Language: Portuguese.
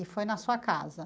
E foi na sua casa.